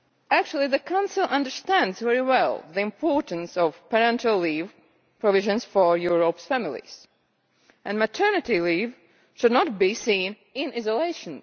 Actually, the Council understands very well the importance of parental leave provisions for Europeʼs families, and maternity leave should not be seen in isolation.